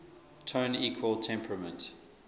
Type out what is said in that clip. tone equal temperament